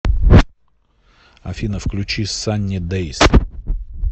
афина включи санни дэйс